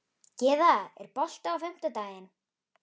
Gyða, er bolti á fimmtudaginn?